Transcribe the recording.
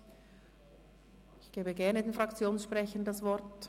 Ich gebe gerne den Fraktionssprechern das Wort.